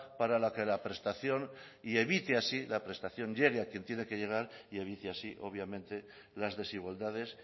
para que la prestación llegue a quien tiene que llegar y evite así obviamente las desigualdades